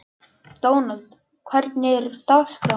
Dónald, hvernig er dagskráin?